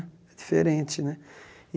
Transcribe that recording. Diferente né.